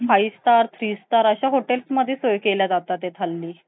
Five star Three star हॉटेलमध्ये सोय केल्या जातात हल्ली.